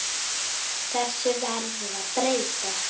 Þessu verður að breyta!